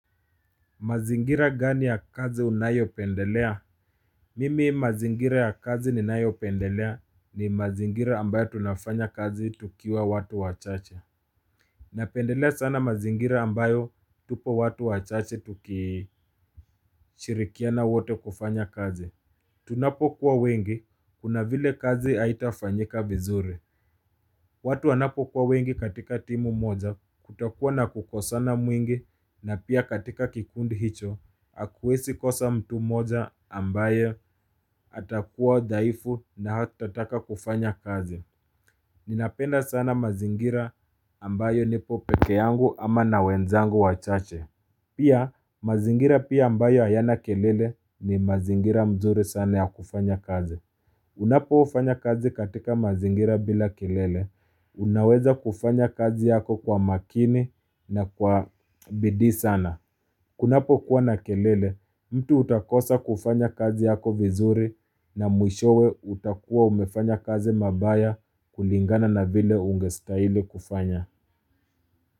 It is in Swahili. Mazingira gani ya kazi unayo pendelea? Mimi mazingira ya kazi ni nayo pendelea ni mazingira ambayo tunafanya kazi tukiwa watu wachache. Napendelea sana mazingira ambayo tupo watu wachache tuki shirikiana wote kufanya kazi. Tunapo kuwa wengi, kuna vile kazi aitafanyika vizuri. Watu anapo kuwa wengi katika timu moja kutakuwa na kukosana mwingi na pia katika kikundi hicho hakuwesi kosa mtu moja ambayo atakuwa dhaifu na hatataka kufanya kazi Ninapenda sana mazingira ambayo nipo peke yangu ama na wenzangu wachache Pia mazingira pia ambayo ayana kelele ni mazingira mzuri sana ya kufanya kazi Unapo ufanya kazi katika mazingira bila kilele, unaweza kufanya kazi yako kwa makini na kwa bidii sana. Kunapo kuwa na kelele, mtu utakosa kufanya kazi yako vizuri na mwishowe utakuwa umefanya kazi mabaya kulingana na vile ungestaili kufanya.